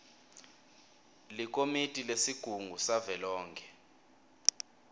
likomiti lesigungu savelonkhe